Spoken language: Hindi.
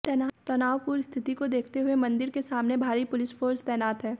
तनावपूर्ण स्थिति को देखते हुए मंदिर के सामने भारी पुलिसफोर्स तैनात है